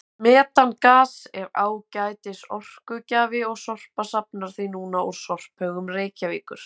Metangas er ágætis orkugjafi og Sorpa safnar því núna úr sorphaugum Reykjavíkur.